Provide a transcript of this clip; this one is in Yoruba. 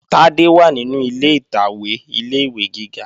Tádé wà nínú ilé ìtàwé ilé-ìwé gíga